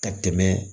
Ka tɛmɛ